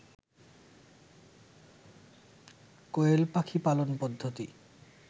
কোয়েল পাখি পালন পদ্ধতি